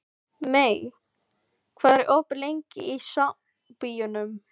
Mey, hvað er opið lengi í Sambíóunum?